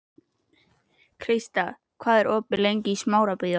Krista, hvað er opið lengi í Smárabíói?